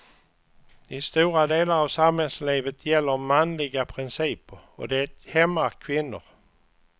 I stora delar av samhällslivet gäller manliga principer, och det hämmar kvinnor.